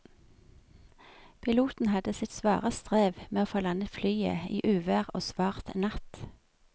Piloten hadde sitt svare strev med å få landet flyet i uvær og svart natt.